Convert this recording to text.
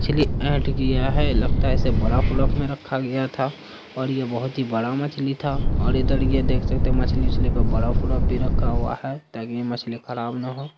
मछली ऐंठ गया है लगता है इसे बर्फ उर्फ़ में रखा गया था और ये बहुत बड़ा मछली था और इधर ये देख सकते है मछली-उछली पर बर्फ उर्फ़ भी रखा हुआ है ताकि यह मछली खराब न हो।